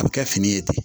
A bɛ kɛ fini ye ten